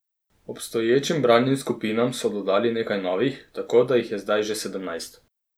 Obstoječim bralnim skupinam so dodali nekaj novih, tako da jih je zdaj že sedemnajst.